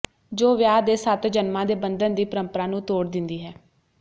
ਜੋ ਵਿਆਹ ਦੇ ਸੱਤ ਜਨਮਾਂ ਦੇ ਬੰਧਨ ਦੀ ਪਰੰਪਰਾ ਨੂੰ ਤੋੜ ਦਿੰਦੀ ਹੈ